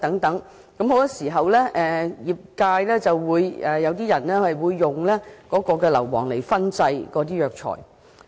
很多時候，有些業界人士會使用硫磺燻製中藥材。